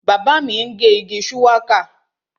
Bàbá mi ń gé igi shuwaka